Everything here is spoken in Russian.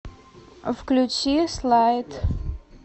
включи слайд